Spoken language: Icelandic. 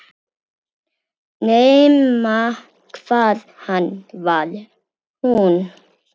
Nema hvað hann var hún.